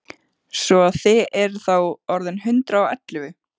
Svo að þið eruð þá orðin hundrað og ellefu!